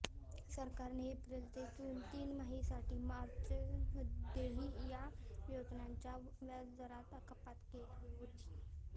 सरकारने एप्रिल ते जून तिमाहीसाठी मार्चमध्येही या योजनांच्या व्याजदरात कपात केली होती